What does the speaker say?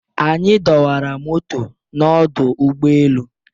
anyi dọwara moto n'ọdụ ụgbọ elu